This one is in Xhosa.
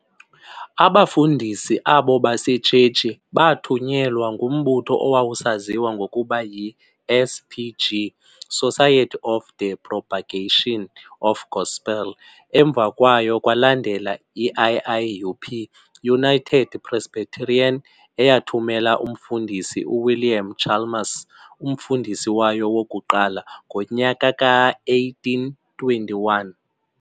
Abafundisi abo basetshetshi baathunyelwa ngumbutho owawusaziwa ngokuba yi-S.P.G, Society of the propagation of gospel. Emva kwayo kwalandela i-i.i.U.P, United Presbyterian, eyathumela umFundisi uWilliam Chalmers, umfundisi wayo wokuqala, ngonyaka ka-1821.